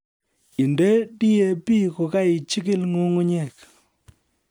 Inde DAP kokaijikil nyung'unyek